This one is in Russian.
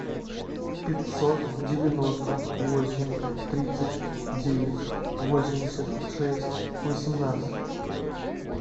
пятьсот девяносто восемь тридцать девять восемьдесят шесть восемнадцать